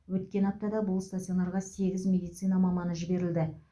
өткен аптада бұл стационарға сегіз медицина маманы жіберілді